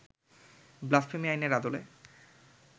blasphemy আইনের আদলে